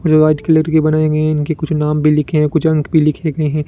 और white colour की बनाई हुई है इनके कुछ नाम भी लिखे हैं कुछ अंक भी लिखे गए हैं।